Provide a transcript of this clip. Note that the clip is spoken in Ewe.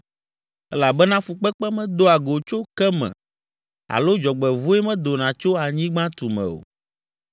Elabena fukpekpe medoa go tso ke me alo dzɔgbevɔ̃e medona tso anyigba tume o.